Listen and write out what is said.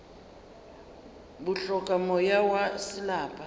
bo hloka moya wa selapa